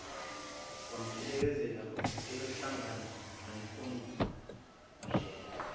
kwamphelekezele eyohlangana nompondlela